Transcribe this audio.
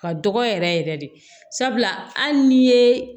Ka dɔgɔ yɛrɛ yɛrɛ yɛrɛ de sabula hali ni ye